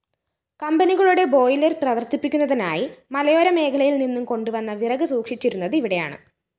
കമ്പനികളുടെ ബോയിലർ പ്രവര്‍ത്തിപ്പിക്കുന്നതിനായി മലയോര മേഖലയില്‍നിന്നു കൊണ്ടുവന്ന വിറക് സൂക്ഷിച്ചിരുന്നതിവിടെയാണ്